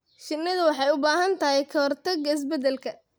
Shinnidu waxay u baahan tahay ka-hortagga isbeddelka.